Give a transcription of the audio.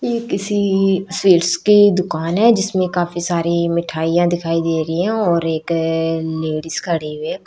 ये किसी स्वीट्स की दुकान हैं जिसमें काफी सारी मिठाईयां दिखाई दे रही हैं और एक लेडीज खड़ी हैं एक--